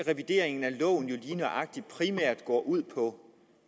revideringen af loven primært går ud på